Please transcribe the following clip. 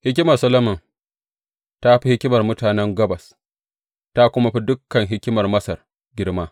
Hikimar Solomon ta fi hikimar mutanen Gabas, ta kuma fi dukan hikimar Masar girma.